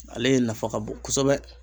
Ale nafa ka bon kosɛbɛ